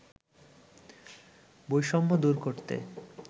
বৈষম্য দূর করতে